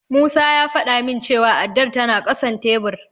Musa ya faɗa min cewa addar tana ƙasan tebur.